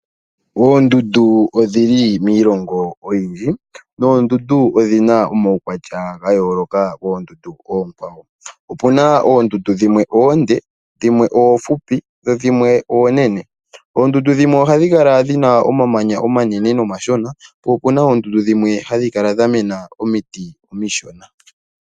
Oondundu odhili miilongo oyindji nodhina omawukwatya ga yoloka kondundu okwawo. Opuna ondundu dhimwe ondee dhimwe ofupi dho dhimwe onene .Oondundu dhimwe ohadhi kala dhina omamanya omanene gamwe omashona. Opuna woo oondundu dhimwe hadhi kala dhamena omiiti omiishona.